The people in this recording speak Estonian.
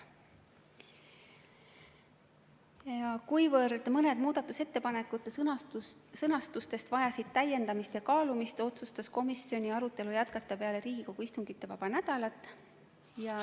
Ja kuna mõne muudatusettepaneku sõnastus vajas täiendamist ja kaalumist, otsustas komisjon arutelu jätkata peale Riigikogu istungivaba nädalat.